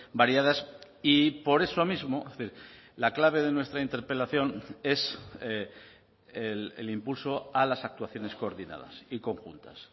variadas y por eso mismo la clave de nuestra interpelación es el impulso a las actuaciones coordinadas y conjuntas